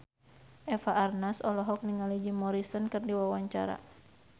Eva Arnaz olohok ningali Jim Morrison keur diwawancara